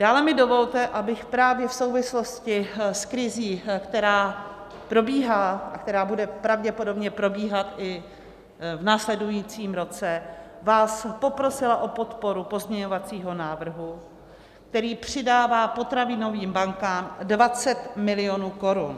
Dále mi dovolte, abych právě v souvislosti s krizí, která probíhá a která bude pravděpodobně probíhat i v následujícím roce, vás poprosila o podporu pozměňovacího návrhu, který přidává potravinovým bankám 20 milionů korun.